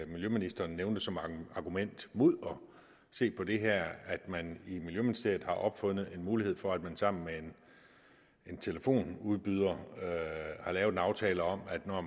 miljøministeren nævnte som argument mod at se på det her at man i miljøministeriet har opfundet en mulighed for at man sammen med en telefonudbyder har lavet en aftale om at når